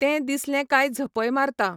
तें दिसलें काय झपय मारतां.